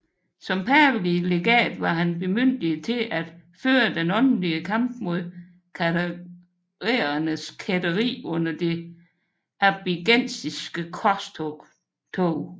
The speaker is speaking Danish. Som pavelig legat var han bemyndiget til at føre den åndelige kamp mod katharernes kætteri under det albigensiske korstog